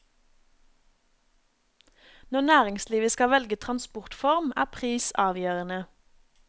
Når næringslivet skal velge transportform, er pris avgjørende.